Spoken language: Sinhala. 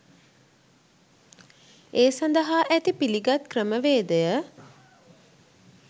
ඒ සඳහා ඇති පිලිගත් ක්‍රමවේදය